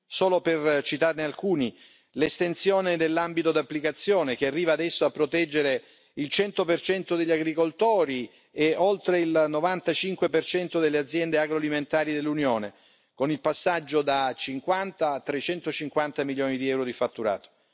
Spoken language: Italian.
Solo per citarne alcuni l'estensione dell'ambito d'applicazione, che arriva adesso a proteggere il 100 degli agricoltori e oltre il 95 delle aziende agroalimentari dell'Unione, con il passaggio da 50 a 350 milioni di euro di fatturato